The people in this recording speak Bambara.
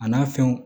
A n'a fɛnw